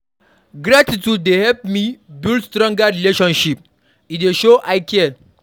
Gratitude dey help me build stronger relationships; e dey show I care.